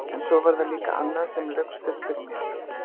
En svo var það líka annað sem laukst upp fyrir mér.